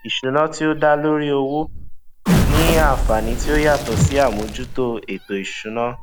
ìṣúná tí ó dá lórí owó ni àǹfàní tí ó yàtò sí àmójútó ètò ìsúná